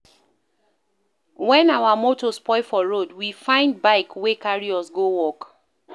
Wen our motor spoil for road, we find bike wey carry us go work.